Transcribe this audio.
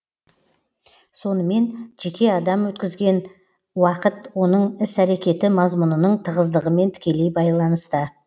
сонымен жеке адам өткізген уакыт оның іс әрекеті мазмұнының тығыздығымен тікелей байланысты